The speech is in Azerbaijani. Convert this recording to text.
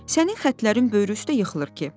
Sənin xətlərin böyrü üstə yıxılır ki."